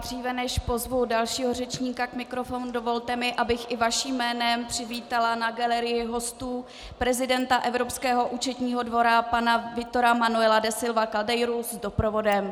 Dříve než pozvu dalšího řečníka k mikrofonu, dovolte mi, abych i vaším jménem přivítala na galerii hostů prezidenta Evropského účetního dvora, pana Vítora Manuela da Silva Caldeiru s doprovodem.